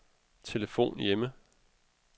telefon hjemme